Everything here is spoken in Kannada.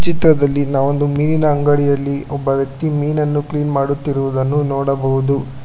ಚಿತ್ರದಲ್ಲಿ ನಾವ್ ಒಂದು ಮೀನಿನ ಅಂಗಡಿಯಲ್ಲಿ ಒಬ್ಬ ವ್ಯಕ್ತಿ ಮೀನನ್ನು ಕ್ಲೀನ್ ಮಾಡುತ್ತಿರುವುದನ್ನು ನೋಡಬಹುದು.